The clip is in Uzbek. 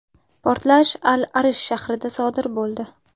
Portlash Al-Arish shahrida sodir bo‘ldi.